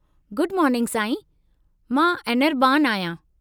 Good morning साईं, मां अनिरबान आहियां।